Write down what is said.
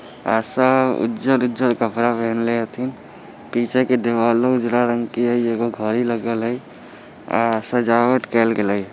ऐसा उज्जर-उज्जर कपड़ा पहनले अथिन पीछे के दीवालो उजरा रंग के है एगो घड़ी लगल हैं सजावट केल गेले या।